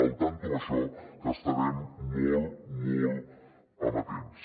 al tanto amb això que hi estarem molt molt amatents